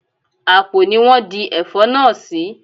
Àpò ni wón di Ẹ̀fọ́ náà sì.